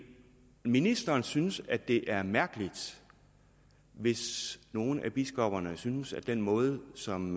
ministeren synes at det er mærkeligt hvis nogle af biskopperne synes at den måde som